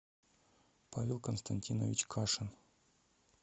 павел константинович кашин